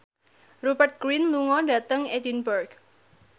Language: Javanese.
Rupert Grin lunga dhateng Edinburgh